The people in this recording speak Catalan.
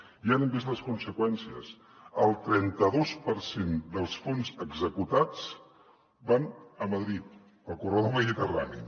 ja n’hem vist les conseqüències el trenta dos per cent dels fons executats van a madrid al corredor mediterrani